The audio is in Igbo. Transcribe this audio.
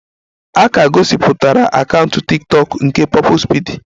A ka gosipụtara akaụntụ tiktokụ nke Purple speedy